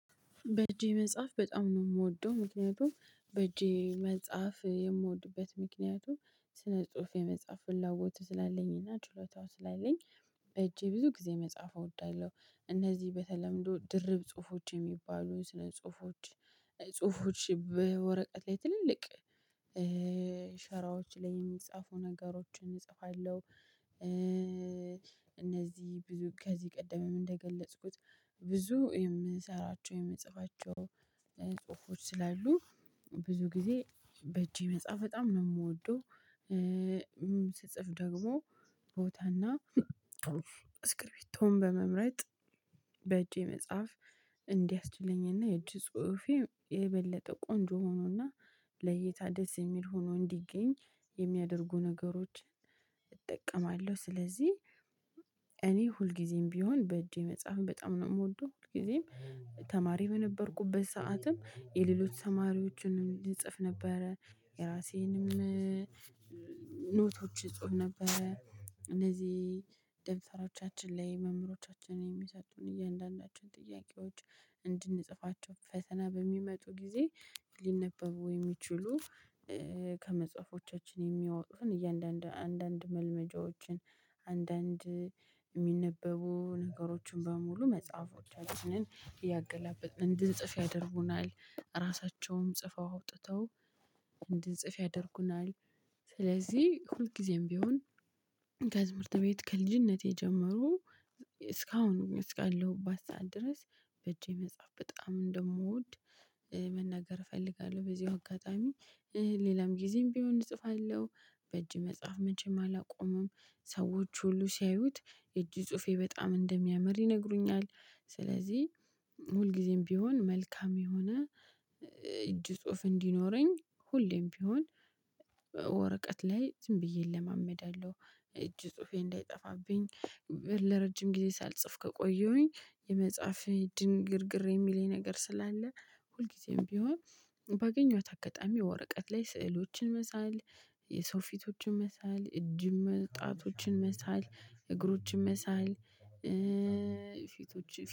በእጄ መጻፍ በጣም ነው የምወደው ምክንያቱም በእጄ መጻፍ የምወድበት ምክንያቱም ስነ ጽሁፍ የመጻፍ ፍላጐቱ ስላለኝ እና ችሎታው ስላለኝ በእጄ ብዙ ጊዜ መጻፍ እወዳለሁ። እነዚህ በተለምዶ ድርብ ጽሁፎች የሚባሉ ስነ ጽሁፎች ጽሁፎች በወረቀት ላይ ትልቅ ሸራዎች ላይ የሚጻፉ ነገሮችን እጽፋለሁ። እነዚህ ብዙ ከዚህ ቀደምም እንደገለጽኩት ብዙ የምሰራቸው የምጽፋቸው ጽሁፎች ስላሉ ብዙ ጊዜ በእጄ መጻፍ በጣም ነው የምወደው። ደግሞ ቦታና እስክሪፕቶን በመምረጥ መጻፍ እንዲያስችለኝና የእጅ ጽሁፌ የበለጠ ቆንጆ ሆኖና ለይታ ደስ የሚል ሆኖ እንዲገኝ የሚያደርጉ ነገሮች እጠቀማለሁ። ስለዚህ እኔ ሁልጊዜም ቢሆን በእጄ መጽሐፍን በጣም ነው የምወደው። ሁልጊዜም ተማሪ በነበርኩበት ሰዓትም የሌሎች ተማሪዎችንም እጽፍ ነበረ። የራሴንም ኖቶችን እፅፍ ነበረ። እነዚህ ደብተሮቻችን ላይ መምህሮቻችንን የሚሰጡን እያንዳንዳቸውን ጥያቄዎች እንድንጽፋቸው ፈተና በሚመጡ ጊዜ ሊነበቡ የሚችሉ ከመጽሐፎቻችን የሚያወጡን እያንዳንዱ አንዳንድ መልመጃዎችን አንዳንድ የሚነበቡ ነገሮችን በሙሉ መጽሐፎቻችንን እያገላብጥ እንድንጽፍ ያደርጉናል። ራሳቸውም ጽፈው አውጥተው እንድንጽፍ ያደርጉናል። ስለዚህ ሁልጊዜም ቢሆን ከትምህርት ቤት ከልጅነቴ ጀመሮ እስካሁን እስካለሁባት ሰዓት ድረስ በእጄ መጽሐፍ በጣም እንደምወድ መናገር እፈልጋለሁ። በዚሁ አጋጣሚ ሌላም ጊዜም ቢሆን እጽፋለሁ። በእጅ መጽሐፍ መቼም አላቆመም። ሰዎች ሁሉ ሲያዩት የእጅ ጽሁፌ በጣም እንደሚያምር ይነግሩኛል። ስለዚህ ሁልጊዜም ቢሆን መልካም የሆነ እጅ ጽሁፍ እንዲኖረኝ ሁሌም ቢሆን ወረቀት ላይ ዝም ብዬ እለማመዳለሁ። እጅ ጽሁፌ እንዳይጠፋብኝ ለረጅም ጊዜ ሳልጽፍ ከቆየሁኝ መጻፍ ድንግርግር የሚለኝ ነገር ስላለ። ሁልጊዜም ቢሆን ባገኘኋት አጋጣሚ ወረቀት ላይ ስዕሎችን መሳል የሰው ፊቶችን መሳል እጅም ጣቶችን መሳል እግሮችን መሳል። ፊቶችን